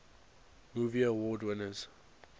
movie award winners